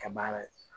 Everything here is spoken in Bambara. Kɛ baara ye